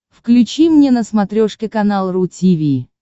включи мне на смотрешке канал ру ти ви